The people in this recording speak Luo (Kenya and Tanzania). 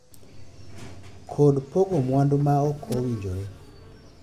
kod pogo mwandu ma ok owinjore,